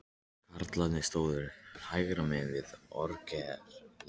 Karlarnir stóðu hægra megin við orgelið.